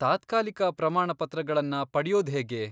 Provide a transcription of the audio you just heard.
ತಾತ್ಕಾಲಿಕ ಪ್ರಮಾಣಪತ್ರಗಳನ್ನ ಪಡ್ಯೋದ್ಹೇಗೆ?